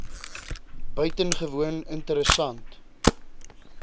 i buitengewoon interessant